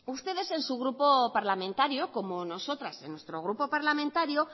ustedes en su grupo parlamentario como nosotras en nuestro grupo parlamentario